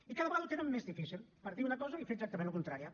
i cada vegada ho tenen més difícil per dir una cosa i fer exactament la contrària